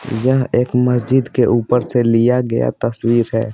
यह एक मस्जिद के ऊपर से लिया गया तस्वीर है।